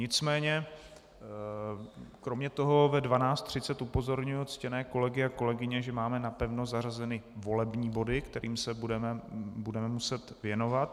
Nicméně kromě toho ve 12.30 upozorňuji ctěné kolegy a kolegyně, že máme napevno zařazeny volební body, kterým se budeme muset věnovat.